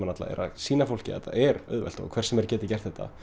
sýna fólki að þetta er auðvelt og hver sem er getur gert þetta